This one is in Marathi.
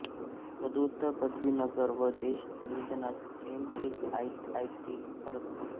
पदव्युत्तर पदवी नगर व देश नियोजनात एम टेक आयआयटी खरगपूर